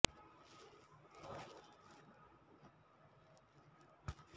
ತುಮಕೂರು ನಗರದಲ್ಲಿ ಇನ್ನಿಲ್ಲದಂತೆ ಕಾಡುತ್ತಿರುವ ಹಂದಿಗಳ ಹಾವಳಿಯನ್ನು ನಿರ್ಮೂಲನಗೊಳಿಸಲು ಕೊನೆಗೂ ಜಿಲ್ಲಾಧಿಕಾರಿಗಳಿಂದ ಹಸಿರು ನಿಶಾನೆ ಲಭಿಸಿದೆ